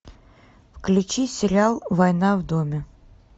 включи сериал война в доме